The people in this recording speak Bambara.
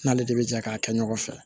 N'ale de bɛ jɛ k'a kɛ ɲɔgɔn fɛ